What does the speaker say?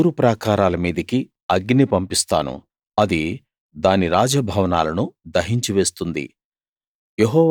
నేను తూరు ప్రాకారాల మీదికి అగ్ని పంపిస్తాను అది దాని రాజ భవనాలను దహించి వేస్తుంది